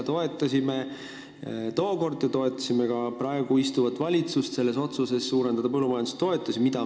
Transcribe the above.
Toetasime seda tookord ja oleme toetanud ka praegust valitsust tema otsuses põllumajandustoetusi suurendada.